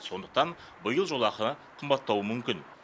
сондықтан биыл жолақы қымбаттауы мүмкін